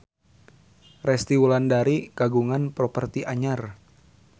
Resty Wulandari kagungan properti anyar